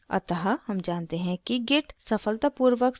अतः हम जानते हैं कि git सफलतापूर्वक संस्थापित हो गया है